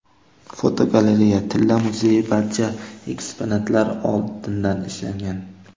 Fotogalereya: Tilla muzeyi barcha eksponatlar oltindan ishlangan.